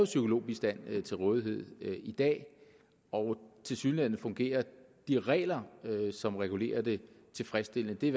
psykologbistand til rådighed i dag og tilsyneladende fungerer de regler som regulerer den tilfredsstillende det